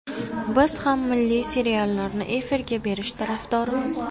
Biz ham milliy seriallarni efirga berish tarafdorimiz.